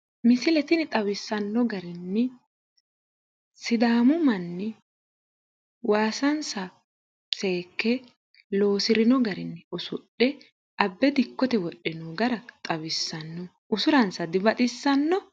Misil tini xawissanno garinni sidaamu manni waasansa seekke loosirino garinni usudhe abbe dikkote wodhino gara xawissanno. Usuransa dibaxissanno?